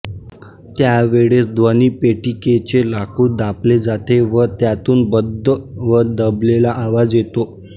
त्या वेळेस ध्वनिपेटिकेचे लाकूड दाबले जाते व त्यातून बद्ध व दबलेला आवाज येतो